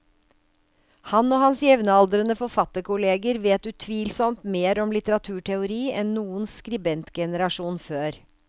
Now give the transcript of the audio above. Han og hans jevnaldrende forfatterkolleger vet utvilsomt mer om litteraturteori enn noen skribentgenerasjon før.